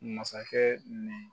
Masakɛ nin